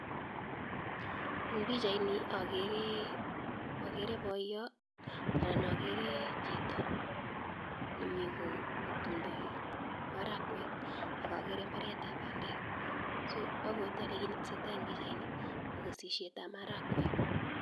Eng pichaini okere boyot anan okere chito nemii kotumndo marakwek ak okere mbaretab bandek, so obwote olee kiit neteseta en pichaini ko kesisietab marakwek.